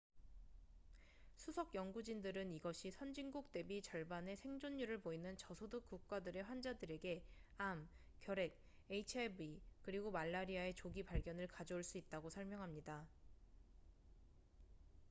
수석 연구진들은 이것이 선진국 대비 절반의 생존율을 보이는 저소득 국가들의 환자들에게 암 결핵 hiv 그리고 말라리아의 조기 발견을 가져올 수 있다고 설명합니다